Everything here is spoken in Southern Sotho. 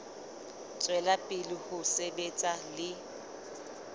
tswela pele ho sebetsa le